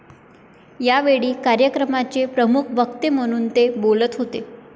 यावेळी कार्यक्रमाचे प्रमुख वक्ते म्हणून ते बोलत होते.